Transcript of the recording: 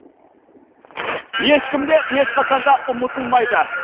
ешкім де ешқашан да ұмытылмайды